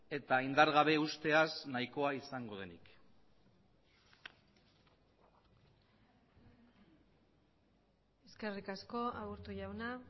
eta indargabe usteaz nahikoa izango denik eskerrik asko aburto jauna